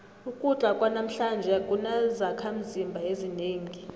ukudla kwanamhlanje akunazakhimzimba ezinengi